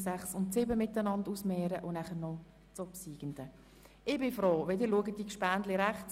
Dort stellen wir die Ziffern 6 und 7 einander gegenüber und klären dann, welcher Antrag angenommen wird.